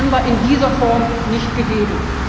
9. November in dieser Form nicht gegeben.